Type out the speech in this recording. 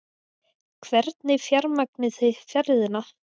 Hvernig fjármagnið þið ferðina?